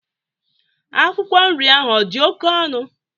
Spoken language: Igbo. Akwụkwọ nri ahụ odi oke onụ?